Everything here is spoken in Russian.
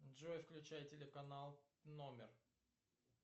джой включай телеканал номер